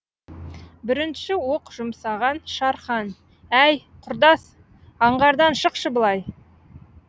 бірінші оқ жұмсаған шархан әй құрдас аңғардан шықшы былай